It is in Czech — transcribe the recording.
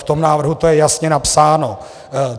V tom návrhu to je jasně napsáno.